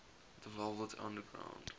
the velvet underground